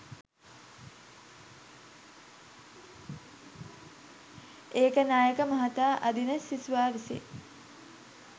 ඒකනායක මහතා අදිත සිසුවා විසින්